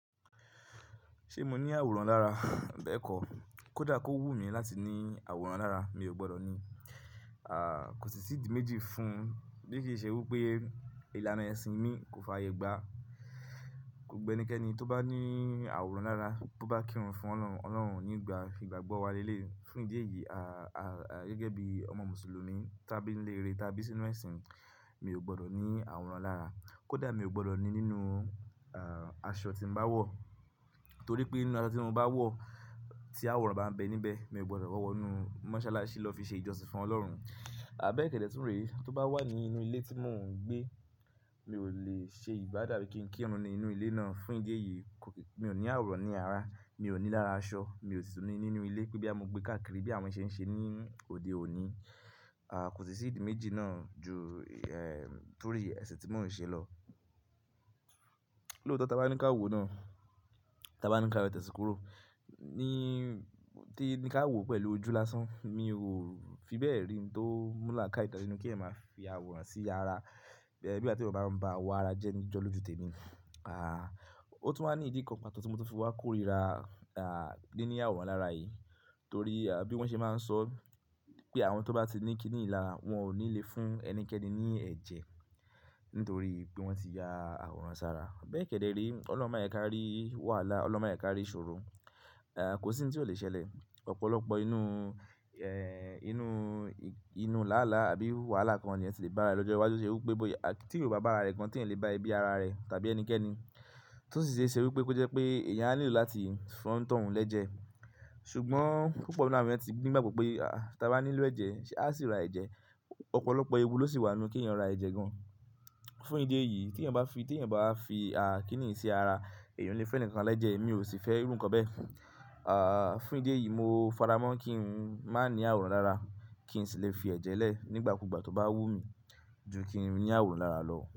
Ṣé mo ní àwòrán lára? Bẹ́ẹ̀kọ́, kódà kó wú mi láti ní àwòrán lára mi ò gbọ́dọ̀ ní. À, kò sì sí ìdí méjì fún bí kì í ṣe wí pé ìlànà ẹ̀sìn mi kò fàyè gbá. Ko gba ẹnikẹ́ni tó bá ní àwòrán lára, tó bá kírun fún Ọlọ́run, Ọlọ́run nígbà fígbà gbọ́ wa lé lé. Fún ìdí èyí, à, à, gẹ́gẹ́ bí ọmọ Mùsùlùmí, tá bí ń lé eré, tá bí sínú ẹ̀sìn, mi ò gbọ́dọ̀ ní àwòrán lára. Kódà mi ò gbọ́dọ̀ ní nínú, à, aṣọ tí mo bá wọ̀. Torí pé nínú aṣọ tí mo bá wọ̀ tí àwòrán bá ń bẹ níbẹ̀, mi ò gbọ́dọ̀ wọ̀ wọ́nu mọ́sálásí lọ fi ṣe ìjọsìn fún Ọlọ́run. Àbẹ́ẹ́kẹ́dẹ́ tún rè, tó bá wà nínú ilé tí mò ń gbé, mi ò le ṣe ìbádá bí kí n kírun nínú ilé náà. Fún ìdí èyí, mi ò ní àwòrán ní ara, mi ò ní lára aṣọ, mi ò sì tún ní nínú ilé pé bí amú gbé káàkiri bí àwọn ṣe ń ṣe ní òde òní. À, kò sì sí ìdí méjì náà ju, ẹ́, torí ẹ̀sìn tí mò ń ṣe lọ. Lóòótọ́ tá bá ní ká wò náà, tá bá ní ká wò tẹsi kúrò ní tí ní ká wò pẹ̀lú ojú lásán, mi ò fi bẹ́ẹ̀ rí i tó múlà ká ìtàn nínú kí è máa fi àwòrán sí ara. Ẹ̀, bí àti ò bá ń bá wa ara jẹ ní jọ lójoojú tèmi. À, ó tún máa ní ìdí kan pàtó tí mo ti fi wá kórìíra, à, dé ní àwòrán lára yìí. Torí, à, bí wọ́n ṣe máa ń sọ pé àwọn tó bá ti ní kíniín lá, wọn ò ní le fún ẹnikẹ́ni ní ẹ̀jẹ̀ nítorí pé wọ́n ti ya àwòrán sára. Àbẹ́ẹ́kẹ́dẹ́ rí, Ọlọ́run máa yẹ ká rí wàhálà, Ọlọ́run máa yẹ ká rí ìṣòro. À, kò sí ohun tí ò le ṣẹlẹ̀. Ọ̀pọ̀lọpọ̀ inú, ẹ́, inú, inú làálàá àbí wàhálà kan ni ẹ ti le bá rẹ̀ lọ́jọ́ iwájú ṣe wí pé bóyá tí ò bá bá ara rẹ̀ kan tí ẹ lè bá ibi ara rẹ̀ tàbí ẹnikẹ́ni. Tó sì ṣe ṣẹ wí pé kó jẹ́ pé èèyàn á nílò láti fún ọ̀ntọ̀hún lẹ́jẹ̀. Ṣùgbọ́n púpọ̀ náà ni wọ́n ti gbé ní gbàgbọ́ pé, à, tá bá nílò ẹ̀jẹ̀, à sì ra ẹ̀jẹ̀. Ọ̀pọ̀lọpọ̀ ewu ló sì wà nínú kí èèyàn ra ẹ̀jẹ̀ gan. Fún ìdí èyí, tí ẹyan bá fi, tí ẹyan bá fi, à, kíniín sí ara, èèyàn lè fún ẹnìkan lẹ́jẹ̀, èmi ò sì fẹ́ rún ǹkan bẹ́ẹ̀. À, fún ìdí èyí mo faramọ́ kí n má ní àwòrán lára, kí n sì lè fi ẹ̀jẹ̀ lẹ̀ nígbàkúgbà tó bá wú mi ju kí n ní àwòrán lára lọ.